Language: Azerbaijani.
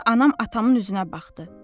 Sonra anam atamın üzünə baxdı.